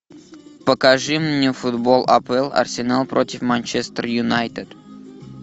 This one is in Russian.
покажи мне футбол апл арсенал против манчестер юнайтед